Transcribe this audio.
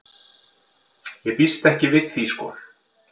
Ég býst ekki við því sko.